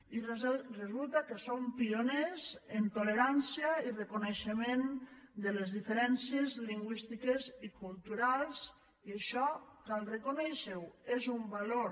i resulta que som pioners en tolerància i reconeixement de les diferències lingüístiques i culturals i això cal reconèixer ho és un valor